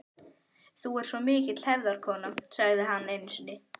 Þú ert svo mikil hefðarkona, sagði hann einu sinni.